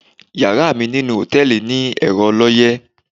Yàrá mi ninú hòtẹ̣́ẹ̀lì ni ẹ̀rọ ọlọ́yẹ́.